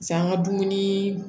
an ka dumuni